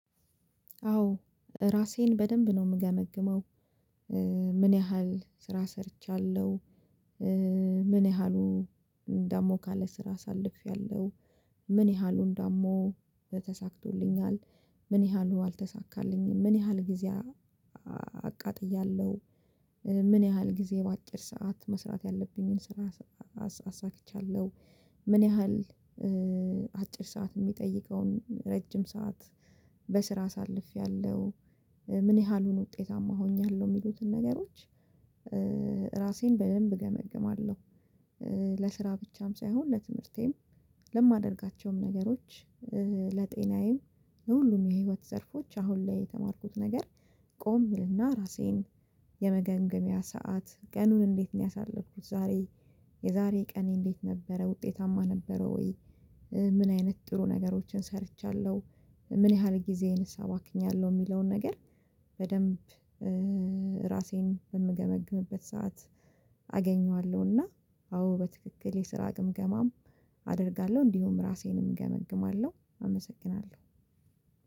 አዎ ራሴን በደንብ ነው ምገመግመው ምን ያህል ስራ ሰርቻለሁ ምን ያህሉ ደሞ ካለ ስራ አሳልፌያለሁ ምን ያህሉን ደሞ በተሳክቶልኛል ምን ያህሉ አልተሳካልኝም ምን ያህል ጊዜ አቃጥያለሁ ምን ያህል ጊዜ በአጭር ሰዓት መስራት ያለብኝን ስራ አሳክቻለሁ ምን ያህል አጭር ሰዓት ሚጠይቀውን ረጅም ሰዓት በስራ አሳልፌያለሁ ምን ያህሉን ውጤታማ ሆኛለሁ ሚሉትን ነገሮች ራሴን በደንብ እገመግማለሁ ለስራ ብቻም ሳይሆን ለትምህርቴም ለማደርጋቸውም ነገሮች ለጤናዬም ለሁሉም የህይወት ዘርፎች አሁን ላይ የተማርኩት ነገር ቆም እልና ራሴን የመገምገሚያ ሰዓት ቀኑን እንዴት ነው ያሳለፍኩት ዛሬ የዛሬ ቀኔ እንዴት ነበረ ውጤታማ ነበረ ወይ ምን አይነት ጥሩ ነገሮችን ሰርቻለሁ ምን ያህል ጊዜዬንስ አባክኛለሁ ሚለውን ነገር በደንብ ራሴን በምገመግምበት ሰዓት አዎ በትክክል የስራ ግምገማም አደርጋለሁ እንዲሁም ራሴንም እገመግማለሁ አመሰግናለሁ።